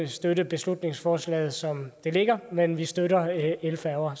støtte beslutningsforslaget som det ligger men vi støtter elfærger